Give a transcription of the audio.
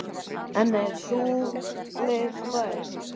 En er sú leið fær?